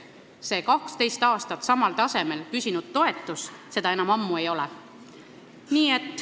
See 12 aastat samal tasemel püsinud toetus seda eesmärki enam ammu ei täida.